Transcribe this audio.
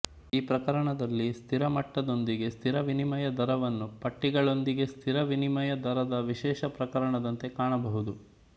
ಈ ಪ್ರಕರಣದಲ್ಲಿ ಸ್ಥಿರ ಮಟ್ಟದೊಂದಿಗೆ ಸ್ಥಿರ ವಿನಿಮಯ ದರವನ್ನು ಪಟ್ಟಿಗಳೊಂದಿಗೆ ಸ್ಥಿರ ವಿನಿಮಯ ದರದ ವಿಶೇಷ ಪ್ರಕರಣದಂತೆ ಕಾಣಬಹುದು